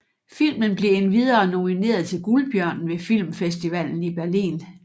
Filmen blev endvidere nomineret til Guldbjørnen ved Filmfestivalen i Berlin